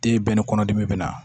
Den bɛɛ ni kɔnɔdimi be na